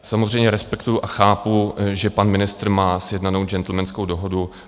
Samozřejmě respektuji a chápu, že pan ministr má sjednanou gentlemanskou dohodu.